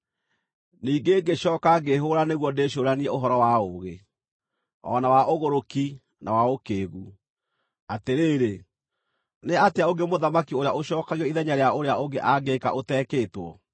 Ningĩ ngĩcooka ngĩĩhũgũra nĩguo ndĩcũũranie ũhoro wa ũũgĩ, o na wa ũgũrũki, na wa ũkĩĩgu. Atĩrĩrĩ, nĩ atĩa ũngĩ mũthamaki ũrĩa ũcookagio ithenya rĩa ũrĩa ũngĩ angĩĩka ũteekĩtwo?